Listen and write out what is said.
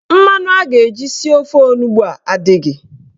Mmanụ a ga-eji sie ofe onugbo a adịghị.